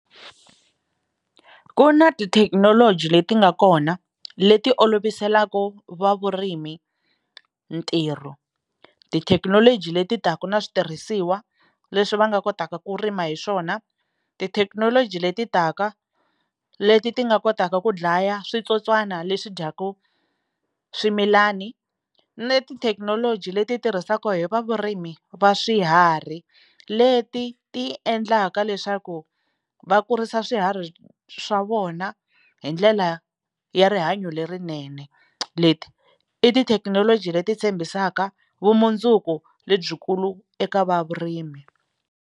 Ku na tithekinoloji leti nga kona leti oloviselaka va vurimi ntirho tithekinoloji leti taka na switirhisiwa leswi va nga kotaka ku rima hi swona tithekinoloji leti taka leti ti nga kotaka ku dlaya switsotswana leswi dyaka swimilani ni tithekinoloji leti tirhisaka hi va vurimi va swiharhi leti ti endlaka leswaku va kurisa swiharhi swa vona hi ndlela ya rihanyo lerinene leti i tithekinoloji leti tshembisaka vumundzuku lebyikulu eka va vurimi.